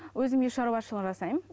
өзім үй шаруашылығын жасаймын